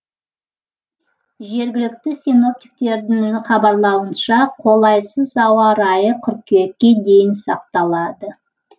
жергілікті синоптиктердің хабарлауынша қолайсыз ауа райы қыркүйекке дейін сақталады